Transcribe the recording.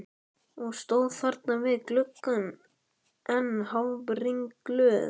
Og stóð þarna við gluggann enn hálfringluð.